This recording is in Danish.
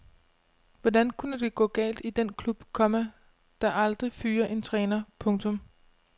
Hvordan kunne det gå galt i den klub, komma der aldrig fyrer en træner. punktum